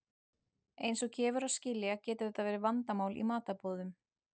Eins og gefur að skilja getur þetta verið vandamál í matarboðum.